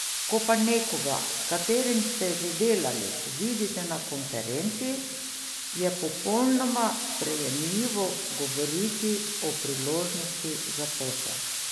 Ko pa nekoga, s katerim ste že delali, vidite na konferenci, je popolnoma sprejemljivo govoriti o priložnosti za posel.